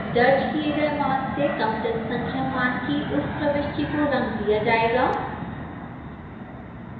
दर्ज किए गए मान से कम जनसंख्या मान की उस प्रविष्टि को रंग दिया जाएगा